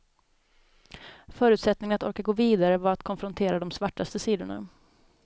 Förutsättningen att orka gå vidare var att konfrontera de svartaste sidorna.